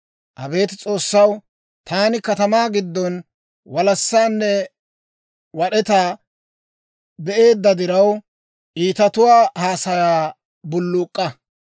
Abeet S'oossaw, taani katamaa giddon walassaanne wad'etaa be'eedda diraw, Iitatuwaa haasayaa bulluuk'k'a.